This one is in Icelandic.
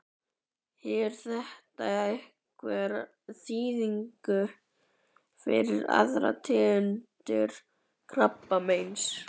Hefur þetta einhverja þýðingu fyrir aðrar tegundir krabbameins?